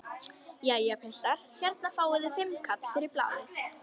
Jæja piltar, hérna fáið þið fimmkall fyrir blaðið!